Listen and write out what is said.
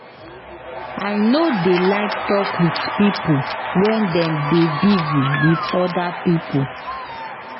I no dey like tok wit pipo wen dem dey busy wit oda pipo.